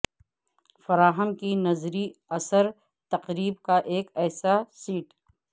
فراہم کی نظری اثر تقرب کا ایک ایسا سیٹ